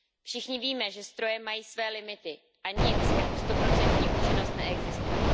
Všichni víme, že stroje mají svoje limity a nic jako stoprocentní účinnost neexistuje.